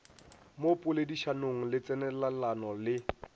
mo poledišanong le tsenelelano le